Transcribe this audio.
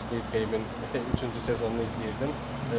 Squid Game-in üçüncü sezonunu izləyirdim.